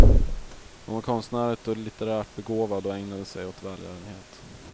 Hon var konstnärligt och litterärt begåvad och ägnade sig åt välgörenhet.